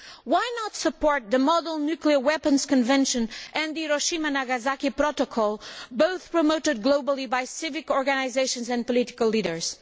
Why not support the Model Nuclear Weapons Convention and the Hiroshima Nagasaki Protocol, both of which are promoted globally by civil organisations and political leaders?